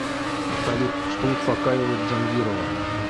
салют что успокаивает джангирова